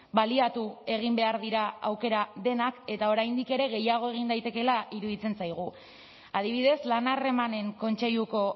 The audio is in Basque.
baliatu egin behar dira aukera denak eta oraindik ere gehiago egin daitekeela iruditzen zaigu adibidez lan harremanen kontseiluko